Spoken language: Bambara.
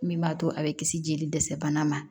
Min b'a to a bɛ kisi jeli dɛsɛ bana ma